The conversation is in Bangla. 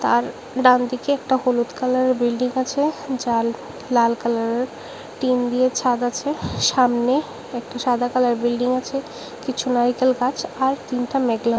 আর ডান দিকে একটা হলুদ কালারের বিল্ডিং আছে যার লাল কালারের টিন দিয়ে ছাদ আছে সামনে একটি সাদা কালার বিল্ডিং আছে কিছু নারিকেল গাছ আর দিনটা মেঘলা।